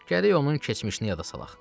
Gərək onun keçmişini yada salaq.